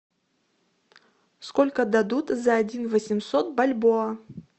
сколько дадут за один восемьсот бальбоа